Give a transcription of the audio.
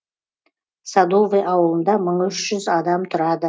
садовый ауылында мың үш жүз адам тұрады